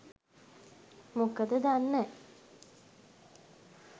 මොකද දන්නෑ